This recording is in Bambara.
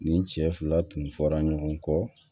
Nin cɛ fila tun fɔra ɲɔgɔn kɔ